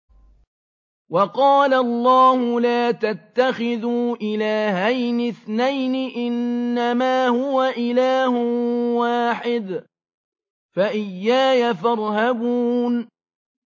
۞ وَقَالَ اللَّهُ لَا تَتَّخِذُوا إِلَٰهَيْنِ اثْنَيْنِ ۖ إِنَّمَا هُوَ إِلَٰهٌ وَاحِدٌ ۖ فَإِيَّايَ فَارْهَبُونِ